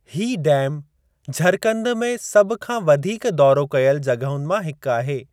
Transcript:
हीउ डैम झरकंद में सभ खां वधीक दौरो कयल जॻहुनि मां हिकु आहे।